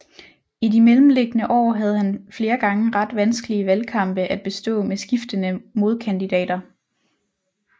I de mellemliggende år havde han flere gange ret vanskelige valgkampe at bestå med skiftende modkandidater